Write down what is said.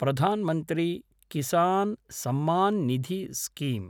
Pradhan Mantri Kisan Samman Nidhi scheme